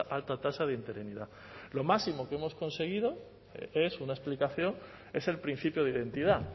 alta tasa de interinidad lo máximo que hemos conseguido es una explicación es el principio de identidad